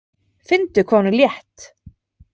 Finndu hvað hún er létt.